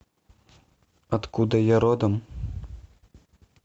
откуда я родом